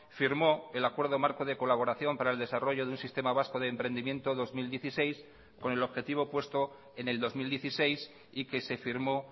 firmó el acuerdo marco de colaboración para el desarrollo de un sistema vasco de emprendimiento dos mil dieciséis con el objetivo puesto en el dos mil dieciséis y que se firmó